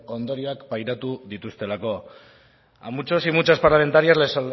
ondorioak pairatu dituztelako a muchos y muchas parlamentarias les